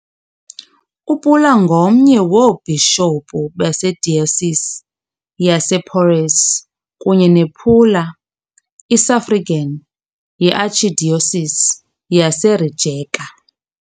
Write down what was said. UPula ngomnye woobhishophu beDiocese yasePoreč kunye nePula, i-suffragan yeArchdiocese yaseRijeka.